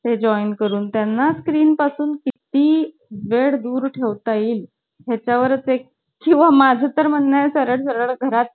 चलच म्हणून. किंवा मी ना सरळ madam कडेच जायचे. madam हे लोक ना मला मुद्दामून कबड्डी खेळायला घेतात. पण मी~